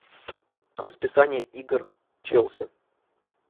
расписание игр челси